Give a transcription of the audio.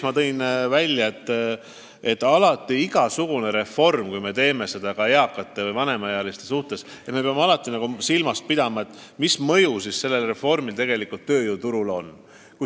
Ma tõin ka välja, et kui tegu on mis tahes reformiga, mis puudutab ka eakaid inimesi, siis me peame alati silmas pidama, mis mõju on sellel reformil tööjõuturule.